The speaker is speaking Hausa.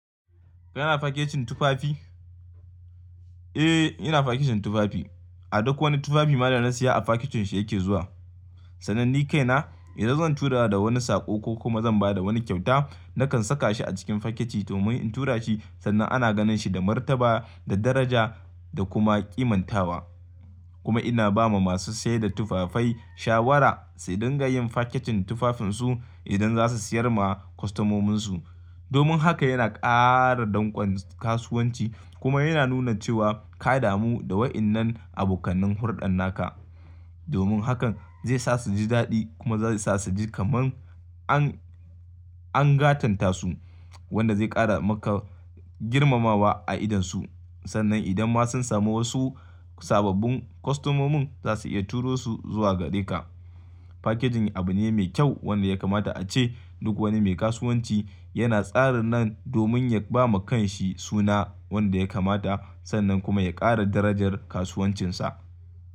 Kana fakecin tufafi? Eh, ina faketin tufafi. A duk wani tufafi ma da na saya a faketin shi yake zuwa. Sannan ni kaina idan zan tura da wani saƙo ko kuma zan ba da wani kyauta, nakan saka shi a cikin faketi domin in tura shi sannan ana ganin shi da martaba, da daraja da kuma kimantawa. Kuma ina ba ma masu sayar da tufafai shawara su dinga yin faketin tufafin su idan za su siyar ma kwastamominsu. Domin haka yana ƙara danƙon kasuwanci kuma yana nuna cewa ka damu da waɗannan abokanai hurɗan naka. Domin hakan zai sa su ji daɗi kuma zai su sa su ji kaman an, an gatanta su wanda zai ƙara maka girmamawa a idonsu. Sannan idan ma sun samu wasu sababbin kwastamomin za su iya turo su zuwa gare ka. Fakejin abu ne mai kyau wanda ya kamata a ce duk wani mai kasuwanci yana tsarin nan domin ya ba ma kan shi suna wanda ya kamata sannan kuma ya ƙara darajar kasuwancinsa.